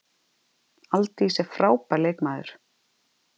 Aldís er frábær leikmaður.